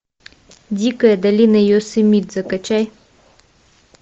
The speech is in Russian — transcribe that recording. дикая долина йосемите закачай